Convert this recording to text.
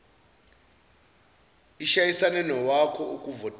ishayisane nowakho ukuvotela